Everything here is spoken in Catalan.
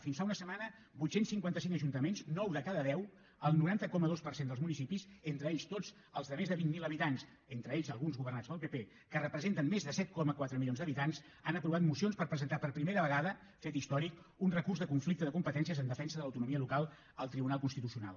fins fa una setmana vuit cents i cinquanta cinc ajuntaments nou de cada deu el noranta coma dos per cent dels municipis entre ells tots els de més de vint mil habitants entre ells alguns governats pel pp que representen més de set coma quatre milions d’habitants han aprovat mocions per presentar per primera vegada fet històric un recurs de conflicte de competències en defensa de l’autonomia local al tribunal constitucional